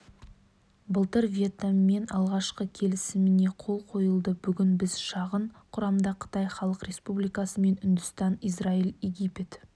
былтыр вьетнаммен алғашқы келісіміне қол қойылды бүгін біз шағын құрамда қытай халық республикасымен үндістан израиль египет